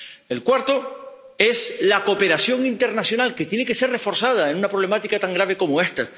El cuarto es la cooperación internacional, que tiene que ser reforzada en una problemática tan grave como esta.